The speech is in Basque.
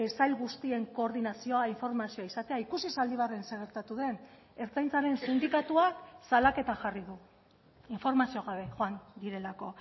sail guztien koordinazioa informazioa izatea ikusi zaldibarren zer gertatu den ertzaintzaren sindikatuak salaketa jarri du informazio gabe joan direlako